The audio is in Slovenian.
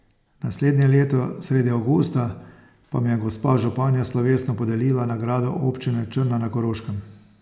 Naslednje leto, sredi avgusta, pa mi je gospa županja slovesno podelila nagrado Občine Črna na Koroškem.